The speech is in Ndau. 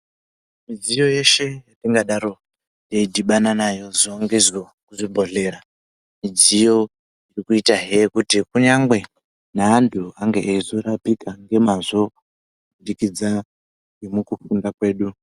Midziyo yeshe yetingadaro teidhibana nayo zuva ngezuva kuzvibhedhlera, midziyo yekuitahe kuti kunyangwe neantu ange eizorapika ngemazvo kubudikidza ngemukukunda kwedu.